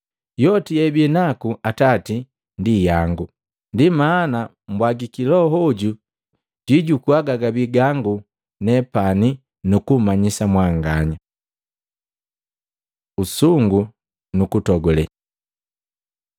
Yoti yeabinaku Atati ndi yangu. Ndi maana bwagiki Loho hoju jwijukua gagabii gangu nepani nukumanyisa mwanganya.” Usungu nukutogule